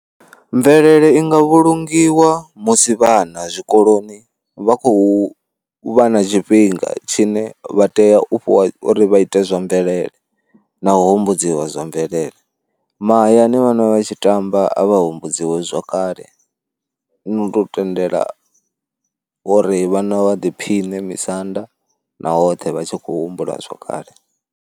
Mvelele i nga vhulungiwa musi vhana zwikoloni vha khou vha na tshifhinga tshine vha tea u fhiwa uri vha ite zwa mvelele na u humbudziwa zwa mvelele. Mahayani vhana vha tshi tamba a vha humbudziwe zwakale, ndi u tou tendela uri vhana vha ḓiphiṋe misanda na hoṱhe vha tshi khou humbula zwakale.